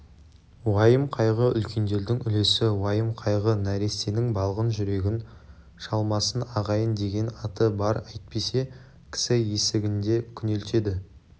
уайым-қайғы үлкендердің үлесі уайым-қайғы нәрестенің балғын жүрегін шалмасын ағайын деген аты бар әйтпесе кісі есігінде күнелтеді